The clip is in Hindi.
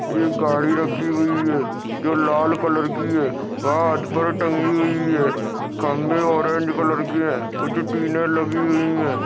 एक गाड़ी रखी हुई है जो लाल कलर की है पर टंगी हुई है खम्बे ऑरेंज कलर के है कुछ टीले लगी हुई है।